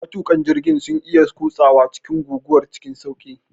Matuƙan jirgin sun iya kutsawa cikin guguwar cikin sauƙi.